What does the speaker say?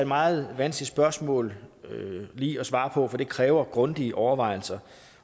meget vanskeligt spørgsmål lige at svare på for det kræver grundige overvejelser